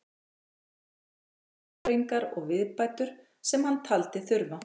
Jón gerði lagfæringar og viðbætur sem hann taldi þurfa.